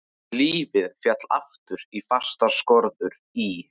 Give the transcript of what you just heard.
Lífið féll aftur í fastar skorður í